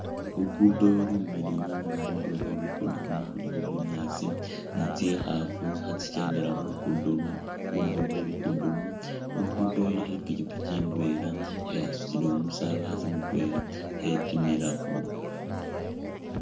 Lukudo lumiliyu nga khundulo khwe lukudo khuno khulikho bunyaasi ni tsikhafu khatsikendela khundulo khwe khulukudo luno, khulukudo ilikho ipikipiki indwela nga yasutile umusabasi mutwela khetimilakho